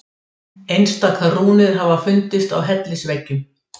Einstaka rúnir hafa fundist á hellisveggjum.